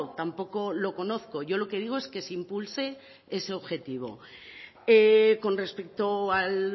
tampoco lo conozco yo lo que digo es que se impulse ese objetivo con respecto al